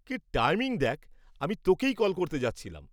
কি টাইমিং দেখ, আমি তোকেই কল করতে যাচ্ছিলাম।